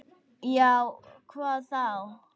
Já, hvað þá?